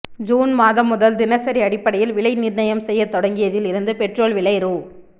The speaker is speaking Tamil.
ஜூன் மாதம் முதல் தினசரி அடிப்படையில் விலை நிர்ணயம் செய்யத் தொடங்கியதில் இருந்து பெட்ரோல் விலை ரூ